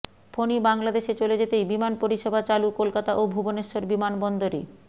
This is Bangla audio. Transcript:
ফণী বাংলাদেশে চলে যেতেই বিমান পরিষেবা চালু কলকাতা ও ভুবনেশ্বর বিমানবন্দরে